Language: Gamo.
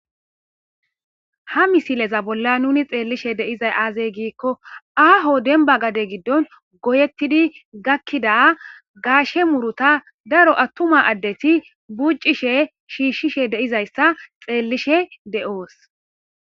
ha misileza bolla nuni xeellishe de'izay aaze giikko aaho denba gade giddon goyettidi gakkida gaashe muruta daro attuma addeti buccishe shiishshishe deizayssa xeellishe de'oos